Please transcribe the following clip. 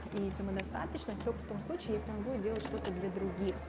и самодостаточность только в том случае если он будет делать что-то для других